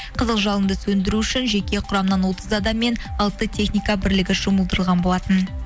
қызылжалынды сөндіру үшін жеке құрамнан отыз адаммен алты техника бірлігі жұмылдырған болатын